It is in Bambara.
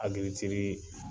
Agirikitiri